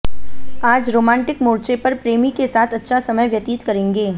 आज रोमांटिक मोर्चे पर प्रेमी के साथ अच्छा समय व्यतित करेंगे